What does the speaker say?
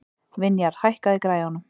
Vinjar, hækkaðu í græjunum.